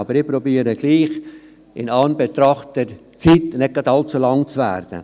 Ich versuche, in Anbetracht der Zeit, trotzdem nicht allzu lang zu werden.